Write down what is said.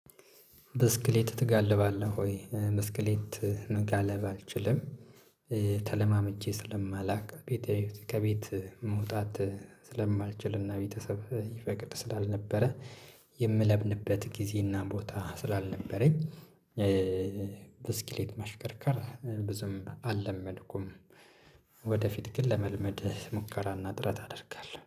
ብስክሌት ትጋልባለህ ወይ ብስክሌት መጋለብ አልችልም? ተለማምጄ ስለማላውቅ ቤተሰብ ከቤት መውጣት ስለማልችልና ቤተሰብ ይፈቅድ ስላልነበረ የምለብንበት ጊዜና ቦታ ስላልነበረኝ። ብስክሌት ማሽከርከር ብዙም አለመድኩም። ወደፊት ግን ለመልመድ ሙከራ እና ጥረት አደርጋለው